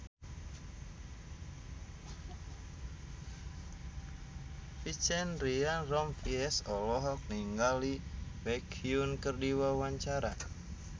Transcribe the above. Vincent Ryan Rompies olohok ningali Baekhyun keur diwawancara